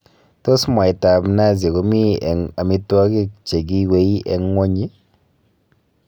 Tos mwaitab nazi komi eng amitwogik che giiwei eng ngwonyi?